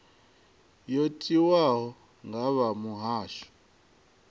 yo tiwaho nga vha muhasho